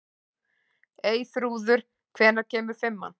Eyþrúður, hvenær kemur fimman?